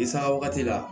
I sanga wagati la